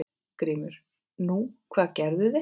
GRÍMUR: Nú, hvað gerðu þeir?